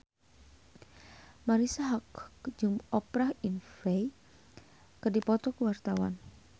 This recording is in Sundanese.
Marisa Haque jeung Oprah Winfrey keur dipoto ku wartawan